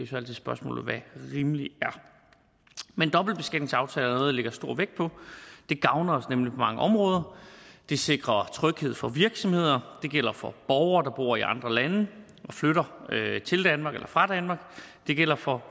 så altid spørgsmålet hvad rimelig er men dobbeltbeskatningsaftaler er lægger stor vægt på det gavner os nemlig på mange områder det sikrer tryghed for virksomheder og det gælder for borgere der bor i andre lande og flytter til danmark eller fra danmark og det gælder for